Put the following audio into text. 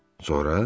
Sonra?